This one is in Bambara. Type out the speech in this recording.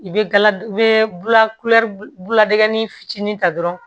I bɛ gala i bɛ fitinin ta dɔrɔn